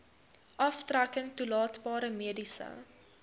aftrekking toelaatbare mediese